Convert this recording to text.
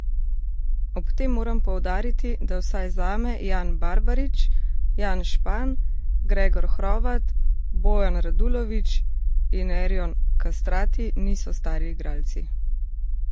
Ob tem moram poudariti, da vsaj zame Jan Barbarič, Jan Špan, Gregor Hrovat, Bojan Radulović in Erjon Kastrati niso stari igralci.